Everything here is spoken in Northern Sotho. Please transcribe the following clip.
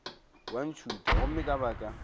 wa ntšhutha gomme ka baka